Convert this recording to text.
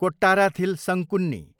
Kottarathil Sankunni